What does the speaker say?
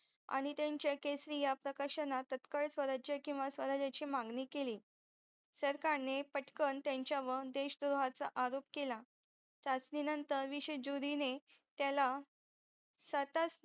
आणि त्यांचे केसरी या प्रकाशनात तत्काळ स्वराज्य किंवा स्वराजाची मागणी केली सरकारने पटकन त्यांच्यावर देश द्रोहाचा आरोप केला त्यासनी नंतर विसुजूरीने त्याला स्वतःच